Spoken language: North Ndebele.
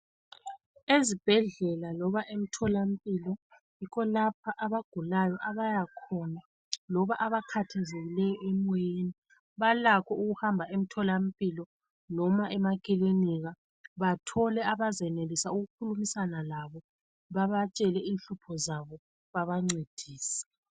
Ezibhendlela loba emtholampilo yikho lapho abagulayo abayakhona loba abakhathazekileyo emoyeni balakho ukuhamba emtholampilo noma emakilinika bathole abezenelisa ukuxoxisana labo babatshele inhlupho zabo babancedise.